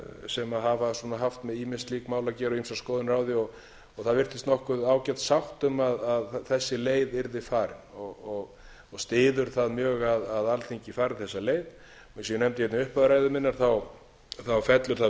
sem hafa svona haft með ýmis slík mál að gera og ýmsar skoðanir á því það virtist nokkuð ágæt sátt um að þessi leið yrði farin og styður það mjög að alþingi fari þessa leið eins og ég nefndi hér í upphafi ræðu minnar fellur það